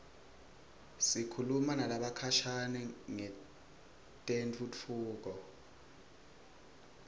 sikhuluma nalabakhashane ngetentfutfuko